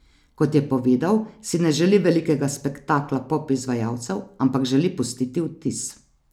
Kot je povedal, si ne želi velikega spektakla pop izvajalcev, ampak želi pustiti vtis.